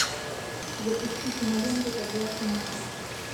запусти киноленту под властью мусора